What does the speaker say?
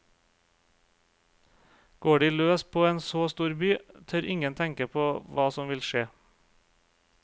Går de løs på en så stor by, tør ingen tenke på hva som vil skje.